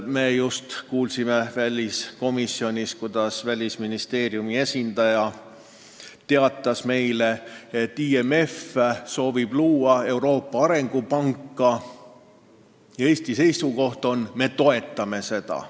Me just kuulsime väliskomisjonis Välisministeeriumi esindajalt, et IMF soovib luua Euroopa arengupanka ja Eesti seisukoht on, et me toetame seda.